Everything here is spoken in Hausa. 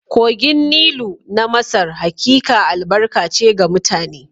Kogin Nilu na Masar hakika albarka ce ga mutane